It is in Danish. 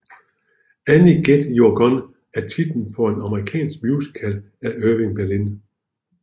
Annie Get Your Gun er titlen på en amerikansk musical af Irving Berlin